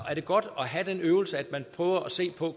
er godt at have den øvelse at man prøver at se på